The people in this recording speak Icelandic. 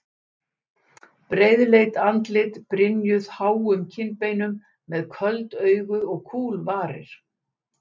Breiðleit andlit brynjuð háum kinnbeinum, með köld augu og kúl varir.